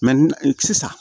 sisan